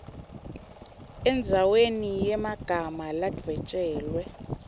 endzaweni yemagama ladvwetjelwe